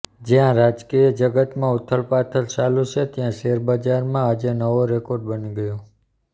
જ્યાં રાજકીય જગતમાં ઉથલપાથલ ચાલુ છે ત્યાં શેર બજારમાં આજે નવો રેકોર્ડ બની ગયો